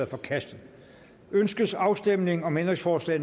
forkastet ønskes afstemning om ændringsforslag